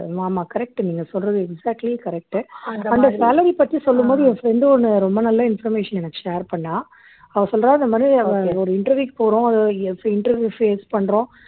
ஆமா correct நீங்க சொல்றது exactly correct உ அந்த salary பத்தி சொல்லும் போது என் friend ஒன்னு ரொம்ப நல்ல information எனக்கு share பண்ணா அவ சொல்றாரு இந்த மாதிரி அவ ஒரு interview க்கு போறோம் interview face பண்றோம்